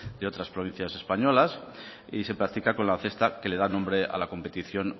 de otras provincias españolas y se practica con la cesta que le da nombre a la competición